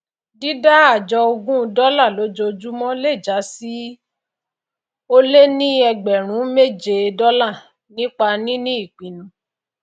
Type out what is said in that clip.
dídá àjọ ogún dólà lójojúmò le jásí ólé ní ẹgbrùn méjé dòlà nípa níní ìpinu